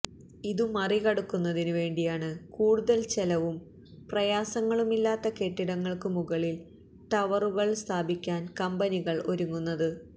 ഇതുമറി കടക്കുന്നതിനു വേണ്ടിയാണ് കൂടുതല് ചെലവും പ്രയാസങ്ങളുമില്ലാതെ കെട്ടിടങ്ങള്ക്കു മുകളില് ടവറുകള് സ്ഥാപിക്കാന് കമ്പനികള് ഒരുങ്ങുന്നത്